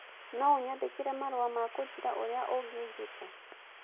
no ũnyandĩkĩre marũa ma kũnjĩra ũrĩa ũngĩnjĩta